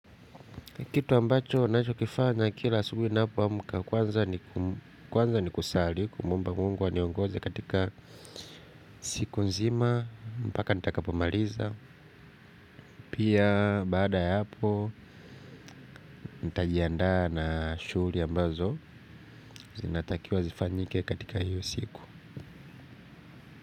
Kitu ambacho ninacho kifanya kila asubuhi ni napoamka kwanza ni kum kwanza ni kuswali kumwomba mungu aniongoze katika siku nzima. Mpaka nitakapo maliza pia baada ya hapo nitajiandaa na shuguli ambazo zinatakiwa zifanyike katika hiyo siku.